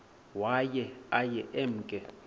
waye aye emke